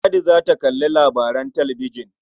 Ladi za ta kalli labaran talabijin.